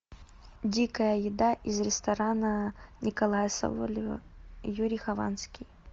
дикая еда из ресторана николая соболева и юрий хованский